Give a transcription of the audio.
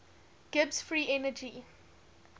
gibbs free energy